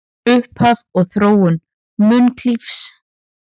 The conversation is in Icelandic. Upphaf og þróun munklífis